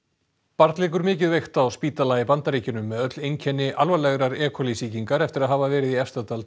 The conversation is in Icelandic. barn liggur mikið veikt á spítala í Bandaríkjunum með öll einkenni alvarlegrar e coli sýkingar eftir að hafa verið í Efstadal